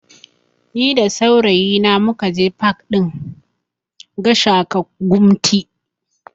Ni da saurayi na mukaje pak ɗin Gashaka Gumti